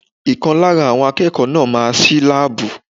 Ìkan lára àwọn akẹ́kọ̀ọ́ náà máa ṣí láàbù.